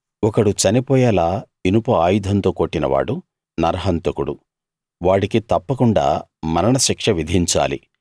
ఒకడు చనిపోయేలా ఇనుప ఆయుధంతో కొట్టినవాడు నరహంతకుడు వాడికి తప్పకుండా మరణశిక్ష విధించాలి